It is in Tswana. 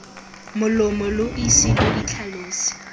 molomo lo ise lo itlhalose